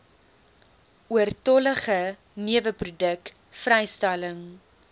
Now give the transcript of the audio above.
oortollige neweproduk vrystelling